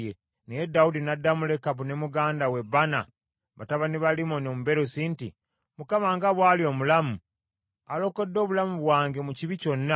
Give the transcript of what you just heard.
Naye Dawudi n’addamu Lekabu ne muganda we Baana, batabani ba Limmoni Omubeerosi nti, “ Mukama nga bw’ali omulamu, alokodde obulamu bwange mu kibi kyonna,